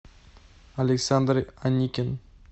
александр аникин